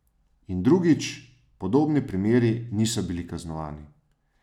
In drugič, podobni primeri niso bili kaznovani.